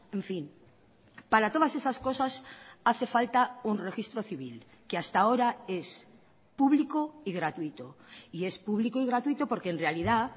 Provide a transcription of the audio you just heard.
en fin para todas esas cosas hace falta un registro civil que hasta ahora es público y gratuito y es público y gratuito porque en realidad